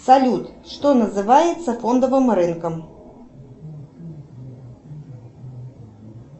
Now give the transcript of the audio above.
салют что называется фондовым рынком